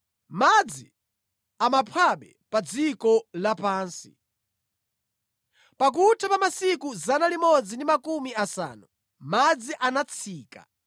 Madzi amaphwabe pa dziko lapansi. Pakutha pa masiku 150, madzi anatsika,